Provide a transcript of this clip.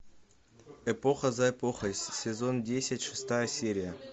эпоха за эпохой сезон десять шестая серия